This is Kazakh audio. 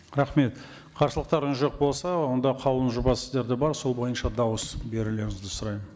рахмет қарсылықтарыңыз жоқ болса онда қаулының жобасы сіздерде бар сол бойынша дауыс берулеріңізді сұраймын